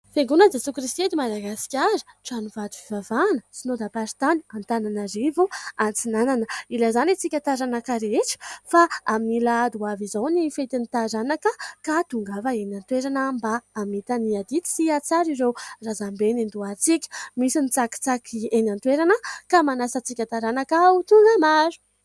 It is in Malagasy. Fiangonan'i Jesoa Kristy eto Madagasikara, tranovato fivavahana, Synodam-paritany Antananarivo Atsinanana. Ilazana isika taranaka rehetra fa amin'ny alahady ho avy izao ny fetin'ny taranaka, ka tongava eny an-toerana mba hamita ny adidy sy ahatsara ireo razambe niandohantsika. Misy ny tsakitsaky eny an-toerana ka manasa antsika taranaka ho tonga maro.